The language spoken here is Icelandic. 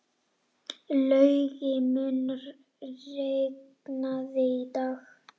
Laugi, mun rigna í dag?